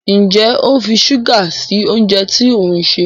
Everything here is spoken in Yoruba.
Njé o ń fí ṣuga sí oúnjẹ tí òun ṣe?